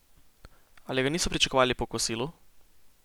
Ali ga niso pričakovali po kosilu?